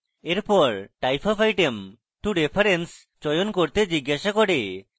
এরপর type of item to reference চয়ন করতে জিজ্ঞাসা করে